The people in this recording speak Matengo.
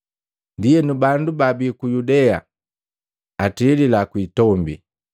Ndienu bandu baabii ku Yudea atilila kuitombi.